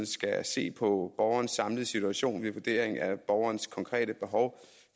skal se på borgerens samlede situation ved vurderingen af borgerens konkrete behov